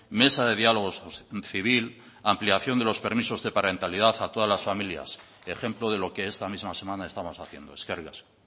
mesa de diálogo civil ampliación de los permisos de parentalidad a todas las familias ejemplo de lo que esta misma semana estamos haciendo eskerrik asko